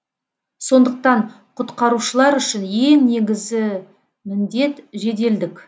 сондықтан құтқарушылар үшін ең негізі міндет жеделдік